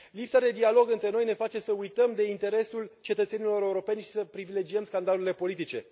Lipsa de dialog între noi ne face să uităm de interesul cetățenilor europeni și să privilegiem scandalurile politice.